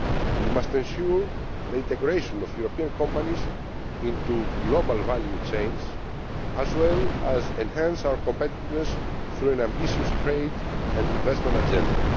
We must ensure the integration of European companies into global value chains as well as enhance our competitiveness through an ambitious trade and investment agenda.